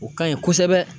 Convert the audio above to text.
O ka ɲi kosɛbɛ